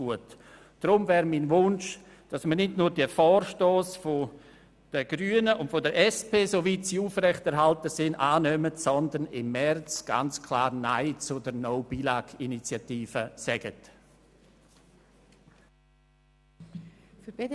Deshalb wäre mein Wunsch, dass wir nicht nur diese Vorstösse der Grünen und der SPJUSO-PSA – soweit sie aufrechterhalten werden – annehmen, sondern im März ganz klar Nein zur «No Billag»Initiative sagen.